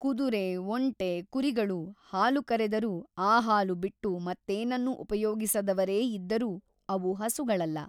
ಕುದುರೆ ಒಂಟೆ ಕುರಿಗಳು ಹಾಲು ಕರೆದರೂ ಆ ಹಾಲು ಬಿಟ್ಟು ಮತ್ತೇನನ್ನೂ ಉಪಯೋಗಿಸದವರೇ ಇದ್ದರೂ ಅವು ಹಸುಗಳಲ್ಲ.